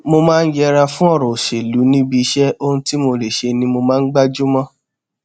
mo máa n yẹra fún ọrọ òṣèlú níbi iṣẹ ohun tí mo lè ṣe ni mo máa ń gbájú mó